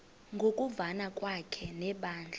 ngokuvana kwakhe nebandla